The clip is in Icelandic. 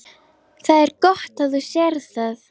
Það er gott að þú sérð það.